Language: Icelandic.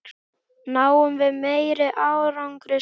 Náum við meiri árangri saman?